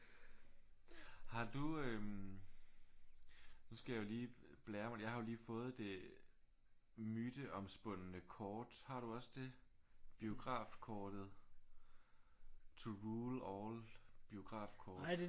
Har du øh nu skal jeg jo lige blære mig med jeg har jo lige fået det myteomspundne kort. Har du også det? Biografkortet to rule all biografkort